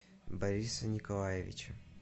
бориса николаевича